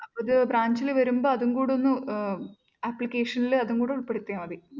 അത് branch ൽ വരുമ്പൊ അതും കൂടൊന്ന് ഏർ application ൽ അതും കൂടി ഉൾപ്പെടുത്തിയാൽ മതി.